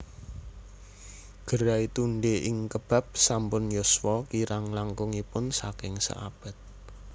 Gerai Tunde ing Kebab sampun yuswa kirang langkungipun saking seabad